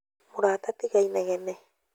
Mũrata tiga inegene